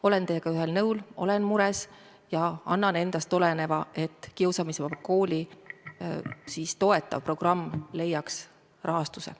Olen teiega ühel nõul, olen mures ja teen kõik endast oleneva, et Kiusamisvaba Kooli toetav programm leiaks rahastuse.